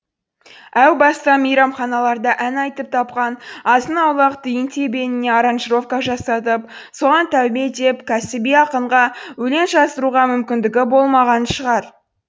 әу баста мейрамханаларда ән айтып тапқан азын аулақ тиын тебеніне оранжировка жасатып соған тәубе деп кәсіби ақынға өлең жаздыруға мүмкіндігі болмаған шығар